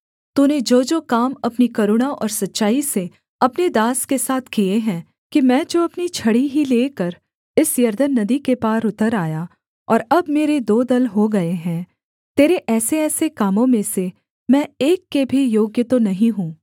तूने जोजो काम अपनी करुणा और सच्चाई से अपने दास के साथ किए हैं कि मैं जो अपनी छड़ी ही लेकर इस यरदन नदी के पार उतर आया और अब मेरे दो दल हो गए हैं तेरे ऐसेऐसे कामों में से मैं एक के भी योग्य तो नहीं हूँ